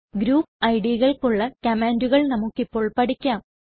group Idകൾക്കുള്ള കമാൻണ്ടുകൾ നമുക്കിപ്പോൾ പഠിക്കാം